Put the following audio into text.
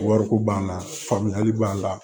Wariko b'an na faamuyali b'a la